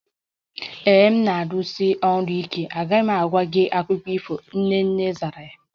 Ee e, m na-arụsi ọrụ ike, agaghị m agwa gị akụkọ ifo, Nene zara